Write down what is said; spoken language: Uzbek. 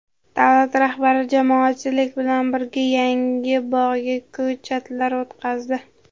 Davlat rahbari jamoatchilik bilan birga yangi bog‘ga ko‘chatlar o‘tqazdi.